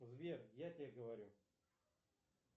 сбер я тебе говорю